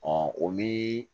o mi